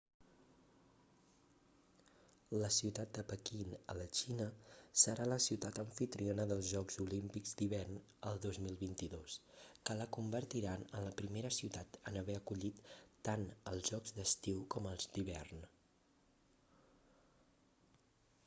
la ciutat de pequín a la xina serà la ciutat amfitriona dels jocs olímpics d'hivern el 2022 que la convertiran en la primera ciutat en haver acollit tant els jocs d'estiu com els d'hivern